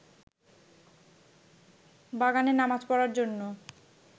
বাগানে নামাজ পড়ার জন্য